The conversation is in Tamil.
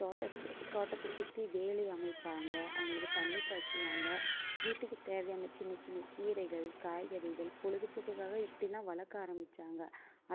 தோட்டத்~ தோட்டத்தை சுத்தி வேலி அமைப்பாங்க அவங்களுக்கு தண்ணி பாய்ச்சுவாங்க வீட்டுக்கு தேவையான சின்ன சின்ன கீரைகள் காய்கறிகள் பொழுதுபோக்குக்காக இப்படி எல்லாம் வளர்க்க ஆரம்பிச்சாங்க